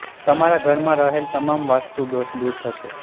તમારા ઘરમાં રહેલ તમામ વાસ્તુ દોષ દૂર થશે